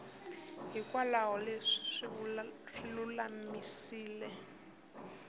hinkwaswo leswi u swi lulamiseke